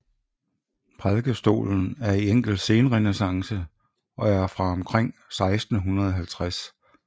Prædikestolen er i enkel senrenæssance og er fra omkring 1650